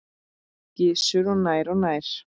Gissur: Og nær og nær?